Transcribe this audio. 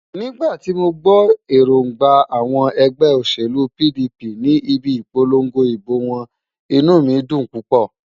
Nígbà tí mo gbọ́ èróńgbà àwọn ẹgbẹ́ òṣèlú PDP ní ibi ìpolongo ìbò wọn, inú mi dùn púpọ̀.